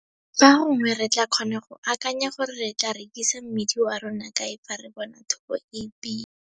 Fa gongwe re tlaa kgona go akanya gore re tlaa rekisa mmidi wa rona kae fa re bona thobo e e pila!